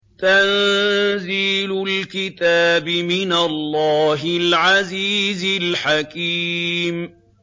تَنزِيلُ الْكِتَابِ مِنَ اللَّهِ الْعَزِيزِ الْحَكِيمِ